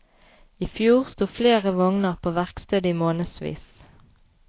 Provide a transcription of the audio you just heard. I fjor sto flere vogner på verksted i månedsvis.